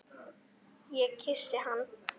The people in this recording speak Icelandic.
Ég kyssi hann.